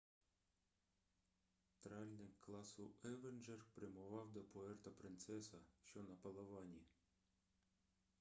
тральник класу евенджер прямував до пуерто-принцеса що на палавані